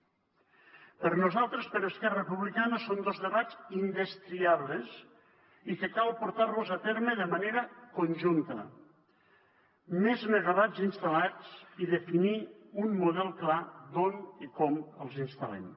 per nosaltres per esquerra republicana són dos debats indestriables i que cal portar a terme de manera conjunta més megawatts instal·lats i definir un model clar d’on i com els instal·lem